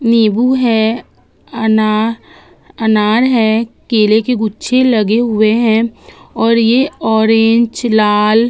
नीबू है अना अनार है केले के गुच्छे लगे हुए हैं और ये ऑरेंज लाल --